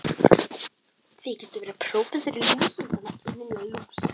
Þykistu vera prófessor í lúsum, þarna Lilla lús!